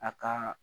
A ka